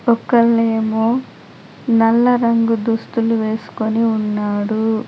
ఒకళ్లు ఏమో నల్ల రంగు దుస్తులు వేసుకొని ఉన్నాడు.